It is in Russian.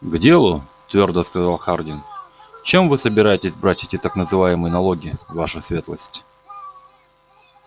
к делу твёрдо сказал хардин чем вы собираетесь брать эти так называемые налоги ваша светлость